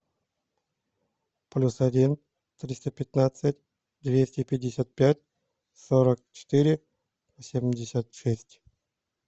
плюс один триста пятнадцать двести пятьдесят пять сорок четыре семьдесят шесть